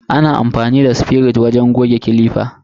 Ana amfani da sifirit wajen goge clipper.